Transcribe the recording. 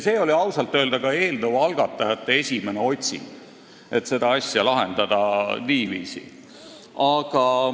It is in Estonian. See oli ausalt öelda ka eelnõu algatajate esimene otsing, et lahendada seda asja niiviisi.